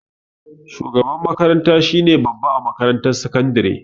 Shugaban makaranta shine babba a makarantar sakandare